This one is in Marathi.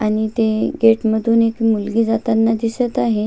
आणि ते गेट मधून मुलगी जाताना दिसत आहे.